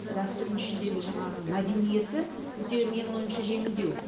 дәстүрінің ішіндегі жаңағы мәдениеті өте менің ойымша жеңілдеу